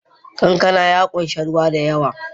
Kankana ya ƙunshi ruwa da yawa